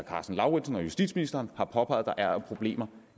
karsten lauritzen og justitsministeren har påpeget der er af problemer